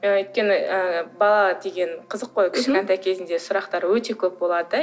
өйткені ы бала деген қызық қой мхм кішкентай кезінде сұрақтар өте көп болады да